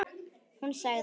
Hún sagði: